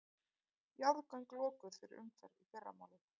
Jarðgöng lokuð fyrir umferð í fyrramálið